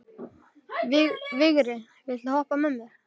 Vigri, viltu hoppa með mér?